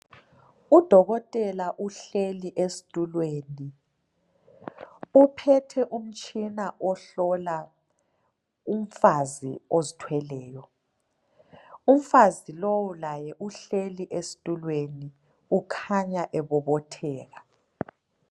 Udokotela uhleli esitulweni uphethe umtshina ohlola umfazi ozithweleyo umfazi lowu laye uhleli esitulweni ukhanya ebobotheka